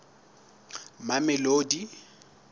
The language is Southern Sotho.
mamelodi